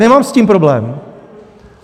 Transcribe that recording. Nemám s tím problém.